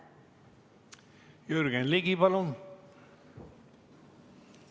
Jürgen Ligi, palun!